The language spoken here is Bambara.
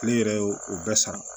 Ne yɛrɛ y'o o bɛɛ sara